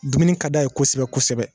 Dumuni ka d'a ye kosɛbɛ kosɛbɛ